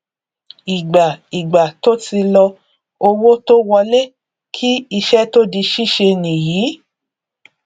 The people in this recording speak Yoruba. ìgbà ìgbà tó ti lọ owó tó wọlé kí iṣẹ tó di síse nìyí